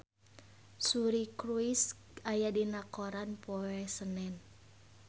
Suri Cruise aya dina koran poe Senen